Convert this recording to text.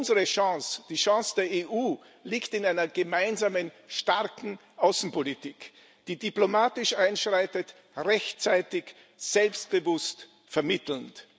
Unsere Chance, die Chance der EU, liegt in einer gemeinsamen starken Außenpolitik, die diplomatisch einschreitet rechtzeitig, selbstbewusst, vermittelnd.